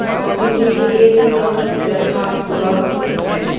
Coffee के लिए cup रखा हुआ है।